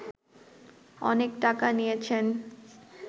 অনেক টাকা নিয়েছেন